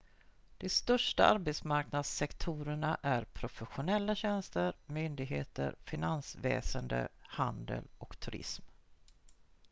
de största arbetsmarknadssektorerna är professionella tjänster myndigheter finansväsende handel och turism